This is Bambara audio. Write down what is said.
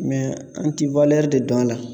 an ti de don a la.